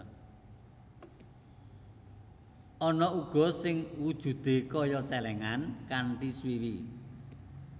Ana uga sing wujudé kaya cèlèngan kanthi swiwi